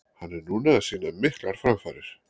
Hann er núna að sýna miklar framfarir.